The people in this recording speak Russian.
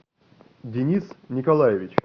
денис николаевич